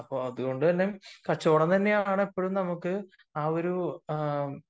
അതുകൊണ്ട് തന്നെയാണ് കച്ചവടം തന്നെയാണ് ഇപ്പോഴും നമുക്ക് ആ ഒരു